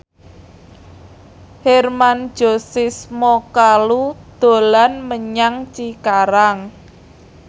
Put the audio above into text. Hermann Josis Mokalu dolan menyang Cikarang